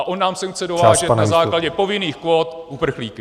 A on nám sem chce dovážet na základě povinných kvót uprchlíky!